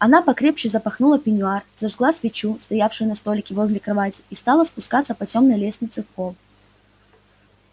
она покрепче запахнула пеньюар зажгла свечу стоявшую на столике возле кровати и стала спускаться по тёмной лестнице в холл